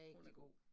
Hun er god